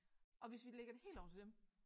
Og hvis vi lægger det hele over til dem